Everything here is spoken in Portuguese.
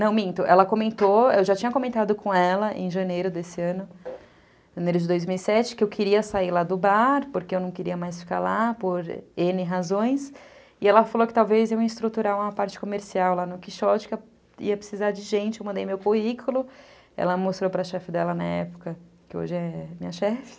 Não, minto, ela comentou, eu já tinha comentado com ela em janeiro desse ano, janeiro de dois mil e sete, que eu queria sair lá do bar, porque eu não queria mais ficar lá, por ene razões, e ela falou que talvez eu ia estruturar uma parte comercial lá no Quixote, que eu ia precisar de gente, eu mandei meu currículo, ela mostrou para a chefe dela na época, que hoje é minha chefe,